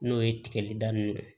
N'o ye tigɛli daminɛ ye